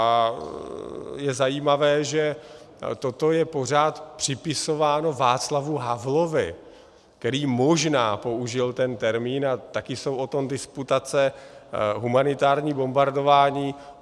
A je zajímavé, že toto je pořád připisováno Václavu Havlovi, který možná použil ten termín, a taky jsou o tom disputace, humanitární bombardování.